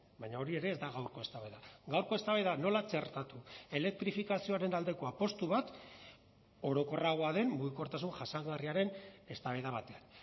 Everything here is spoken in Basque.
baina hori ere ez da gaurko eztabaida gaurko eztabaida nola txertatu elektrifikazioaren aldeko apustu bat orokorragoa den mugikortasun jasangarriaren eztabaida batean